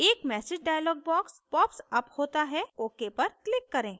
एक message dialog box popsअप होता है ok पर click करें